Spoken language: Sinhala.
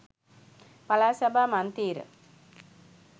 පළාත් සභා මන්තී්‍ර